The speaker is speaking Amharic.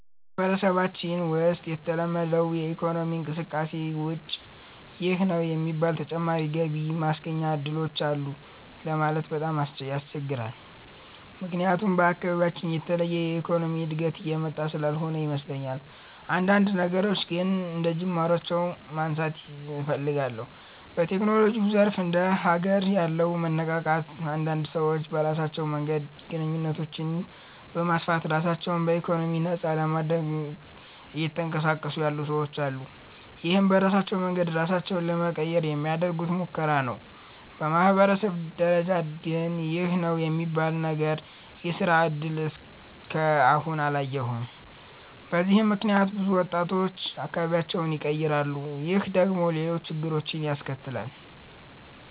በማህበረሰባችን ውሰጥ ከተለመደው የኢኮኖሚ እንቅስቃሴ ውጭ ይህ ነው የሚባል ተጨማሪ ገቢ ማስገኛ እድሎች አሉ ለማለት በጣም ያስቸግራል። ምክያቱም በአካባቢያችን የተለየ የኢኮኖሚ እድገት እየመጣ ስላልሆነ ይመስለኛል። አንዳንድ ነገሮችን ግን አንደጅማሮ ማንሳት እፈልጋለሁ። በቴክኖሎጂው ዘርፍ እንደ ሀገር ያለው መነቃቃት አንዳንድ ሰዎች በራሳቸው መንገድ ግንኙነቶችን በማስፋት ራሳቸው በኢኮኖሚ ነፃ ለማድረግ እየተንቀሳቀሱ ያሉ ሰወች አሉ። ይህም በራሳቸው መንገድ ራሳቸውን ለመቀየር የሚያደርጉት ሙከራ ነው። በማህበረሰብ ደረጃ ግን ይህ ነው የሚባል ነገር የስራ እድል እስከ አሁን አላየሁም። በዚህም ምክንያት ብዙ ወጣቶች አካባቢያቸውን ይቀራሉ። ይህ ደግሞ ሌሎች ችግሮችን ያስከትላል።